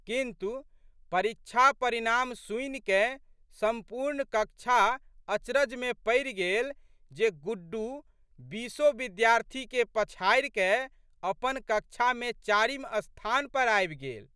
किन्तु, परीक्षा परिणाम सुनिकए संपूर्ण कक्षा अचरजमे पड़ि गेल जे गुड्डू बीसो विद्यार्थीके पछाड़िकए अपन कक्षामे चारिम स्थान पर आबि गेल।